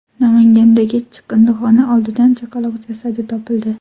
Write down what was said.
Namangandagi chiqindixona oldidan chaqaloq jasadi topildi .